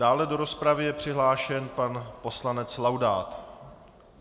Dále do rozpravy je přihlášen pan poslanec Laudát.